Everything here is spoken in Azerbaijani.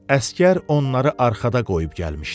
Əsgər onları arxada qoyub gəlmişdi.